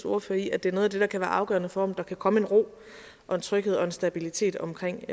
ordfører i at det er noget af det der kan være afgørende for om der kan komme en ro og en tryghed og en stabilitet omkring